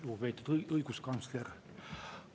Lugupeetud õiguskantsler!